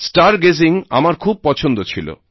star gazing আমার খুব পছন্দ ছিল